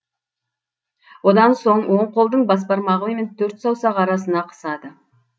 одан соң оң қолдың бас бармағы мен төрт саусақ арасына қысады